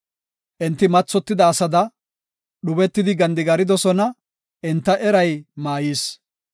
Enti mathotida asada dhubetidi gandigaridosona; enta eray maayis.